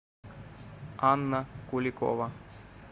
анна куликова